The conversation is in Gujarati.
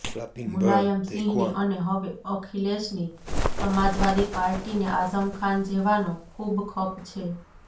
મુલાયમ સિંહની અને હવે અખિલેશની સમાજવાદી પાર્ટીને આઝમ ખાન જેવાનો ખૂબ ખપ છે